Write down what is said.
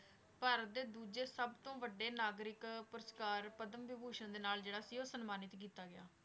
ਭਾਰਤ ਦੇ ਦੂਜੇ ਸਭ ਤੋਂ ਵੱਡੇ ਨਾਗਰਿਕ ਪੁਰਸਕਾਰ ਪਦਮ ਵਿਭੂਸ਼ਨ ਦੇ ਨਾਲ ਜਿਹੜਾ ਸੀ ਉਹ ਸਨਮਾਨਿਤ ਕੀਤਾ ਗਿਆ।